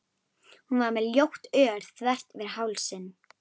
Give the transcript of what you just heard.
Hún var með ljótt ör þvert yfir hálsinn.